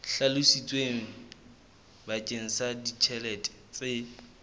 hlalositsweng bakeng sa ditjhelete tse